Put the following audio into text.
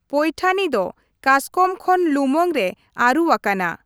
ᱯᱳᱭᱴᱷᱟᱱᱤ ᱫᱚ ᱠᱟᱥᱠᱚᱢ ᱠᱷᱚᱱ ᱞᱩᱢᱟᱹᱝ ᱨᱮ ᱟᱹᱨᱩ ᱟᱠᱟᱱᱟ ᱾